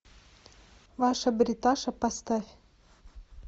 ваша бриташа поставь